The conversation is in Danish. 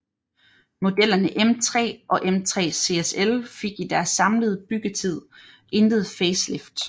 Modellerne M3 og M3 CSL fik i deres samlede byggetid intet facelift